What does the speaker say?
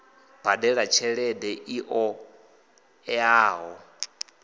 badela tshelede i ṱo ḓeaho